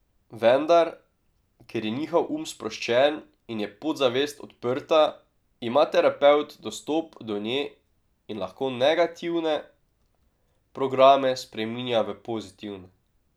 Vendar, ker je njihov um sproščen in je podzavest odprta, ima terapevt dostop do nje in lahko negativne programe spreminja v pozitivne.